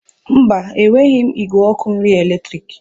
Mba, enweghị m igwe ọkụ nri eletrik.